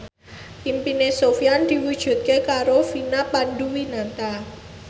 impine Sofyan diwujudke karo Vina Panduwinata